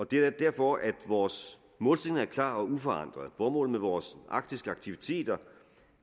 det er derfor at vores målsætning er klar og uforandret formålet med vores arktiske aktiviteter